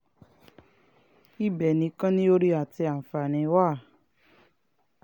ibẹ̀ nìkan ni oore àti àǹfààní wà